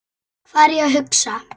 Hvað er ég að hugsa?